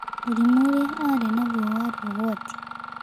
Mũrimũ ũlĩa arĩ naguo warĩ ũgwati.